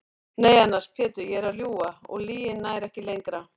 Nei annars Pétur ég er að ljúga og lygin nær ekki lengra.